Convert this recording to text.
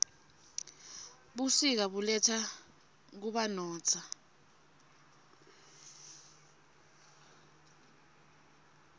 busika buletsa kubanotza